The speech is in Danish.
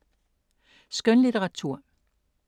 Skønlitteratur